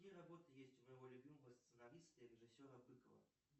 какие работы есть у моего любимого сценариста и режиссера быкова